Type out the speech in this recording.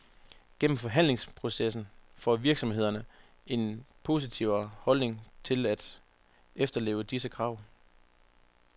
Gennem forhandlingsprocessen får virksomhederne en positivere holdning til at efterleve disse krav.